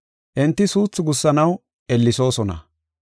Enti suuthi gussanaw ellesoosona.